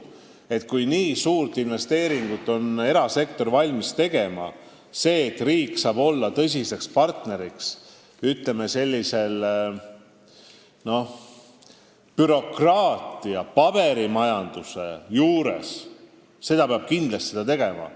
Kui erasektor on valmis nii suurt investeeringut tegema ja kui riik saab olla tõsiseks partneriks, ütleme, bürokraatia ja paberimajanduse juures, siis seda peab kindlasti tegema.